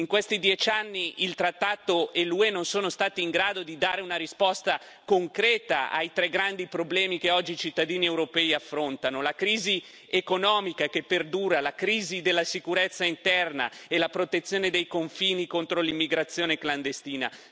In questi dieci anni il trattato e l'UE non sono stati in grado di dare una risposta concreta ai tre grandi problemi che oggi i cittadini europei affrontano la crisi economica che perdura, la crisi della sicurezza interna e la protezione dei confini contro l'immigrazione clandestina.